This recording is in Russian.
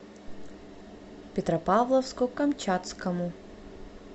петропавловску камчатскому